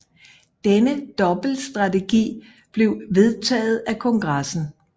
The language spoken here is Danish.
Denne dobbeltstrategi blev vedtaget af kongressen